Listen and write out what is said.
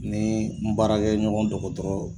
Ni n baarakɛɲɔgɔn dɔgɔtɔrɔ